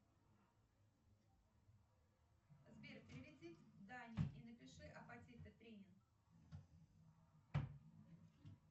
сбер переведи дань и напиши аппатиты три